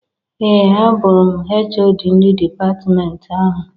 Ee! Abụrụ m HoD ndị dipatmenti ahụ.